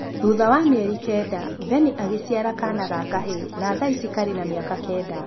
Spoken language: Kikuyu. Thutha wa mĩeri kenda Vennie agĩciara kaana ga kahĩĩ na thaici karĩ na mĩaka kenda